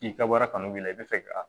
K'i ka wari kanu b'i la i bɛ fɛ ka